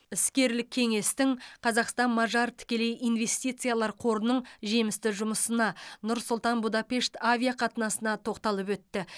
іскерлік кеңестің қазақстан мажар тікелей инвестициялар қорының жемісті жұмысына нұр сұлтан будапешт авиақатынасына тоқталып өтті